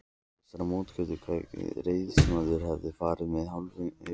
Til þessarar móttöku kveðst ræðismaðurinn hafa farið með hálfum huga.